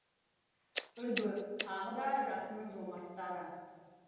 үлгі тағы да жақсының жомарттары